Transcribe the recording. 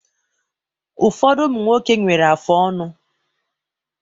Ụfọdụ ụmụ nwoke nwere afụ ọnụ